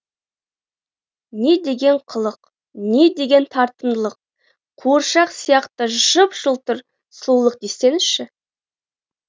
не деген қылық не деген тартымдылық қуыршақ сияқты жып жылтыр сұлулық десеңші